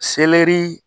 Selɛri